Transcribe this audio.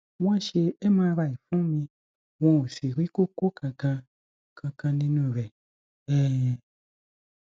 wọn ṣe mri fún mi wọn ò sì rí kókó kankan kankan nínú rẹ um